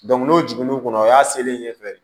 n'o jiginn'u kɔnɔ o y'a selen ɲɛfɛ